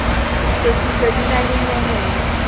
phethiso di na le nyehelo